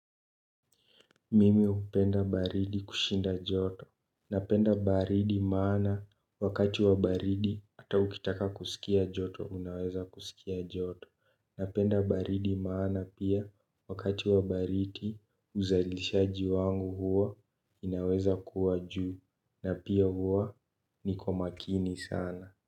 Mimi hupenda baridi kushinda joto. Napenda baridi maana wakati wa baridi hata ukitaka kusikia joto unaweza kusikia joto. Napenda baridi maana pia wakati wa baridi uzalishaji wangu huo inaweza kuwa juu. Na pia huwa niko makini sana.